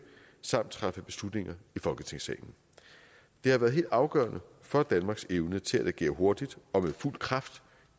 og træffe beslutninger i folketingssalen det har været helt afgørende for danmarks evne til at agere hurtigt og med fuld kraft